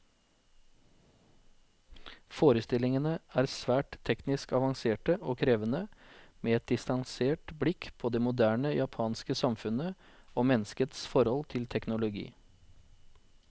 Forestillingene er svært teknisk avanserte og krevende, med et distansert blikk på det moderne japanske samfunnet, og menneskets forhold til teknologi.